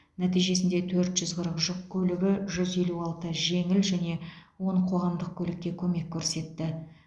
нәтижесінде төрт жүз қырық жүк көлігі жүз елу алты жеңіл және он қоғамдық көлікке көмек көрсетті